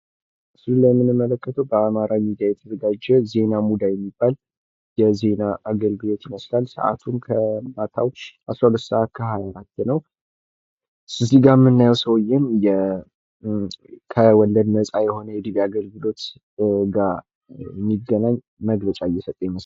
በምስሉ ላይ የምንመለከተዉ በአማራ ሚዲያ የተዘጋጀ "ዜና ሙዳይ" የሚባል የዜና አገልግሎት ይመስላል። ሰዓቱም ከማታዉ 12:24 ነዉ። እዚህ ጋር የምናየዉ ሰዉየ ከወለድ ነፃ የሆነ የዲቪ አገልግሎት ጋር የሚገናኝ መግለጫ እየሰጠ ይመስላል።